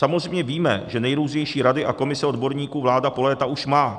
Samozřejmě víme, že nejrůznější rady a komise odborníků vláda už po léta má.